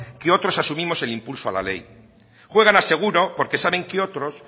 que otros asumimos el impulso a la ley juegan a seguro porque saben que otros